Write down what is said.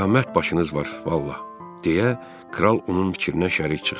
Qiyamət başınız var, vallah, deyə kral onun fikrinə şərik çıxdı.